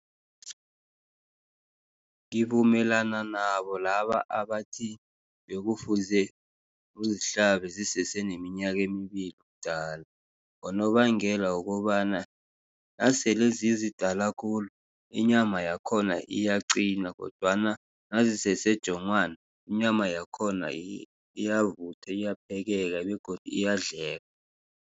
Ngivumelana nabo laba abathi, bekufuze uzihlabe zisese neminyaka embili ubudala. Ngonobangela wokobana nasele zizidala khulu inyama yakhona iyaqina, kodwana nazisese jongwana inyama yakhona ziyavuthwa, iyaphekeka begodu iyadleka.